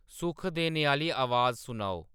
सुख देने आह्ली अवाज सनाओ